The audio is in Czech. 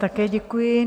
Také děkuji.